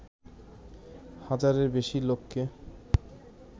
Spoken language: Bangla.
হাজারের বেশি লোককে